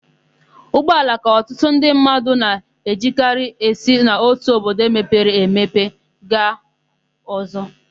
Ụgbọala ka ọtụtụ ndị mmadụ na-ejikarị esi n'otu obodo mepere emepe aga ọ̀zọ́.